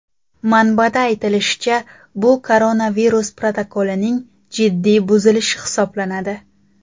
Manbada aytilishicha, bu koronavirus protokolining jiddiy buzilishi hisoblanadi.